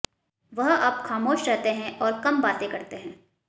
वह अब ख़ामोश रहते हैं और कम बातें करते हैं